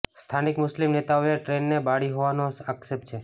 સ્થાનિક મુસ્લિમ નેતાઓએ ટ્રેન ને બાળી હોવાનો આક્ષેપ છે